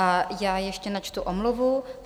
A já ještě načtu omluvu.